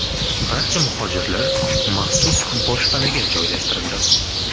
Barcha muhojirlar maxsus boshpanaga joylashtirildi.